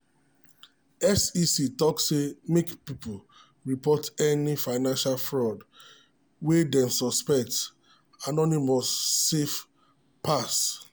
sec talk say make people report any financial fraud wey dem suspect anonymous safe pass.